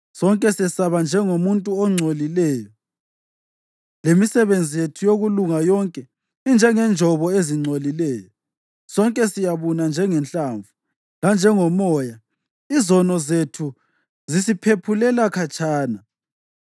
Sonke sesaba njengomuntu ongcolileyo, lemisebenzi yethu yokulunga yonke injengenjobo ezingcolileyo, sonke siyabuna njengehlamvu, lanjengomoya izono zethu zisiphephulela khatshana.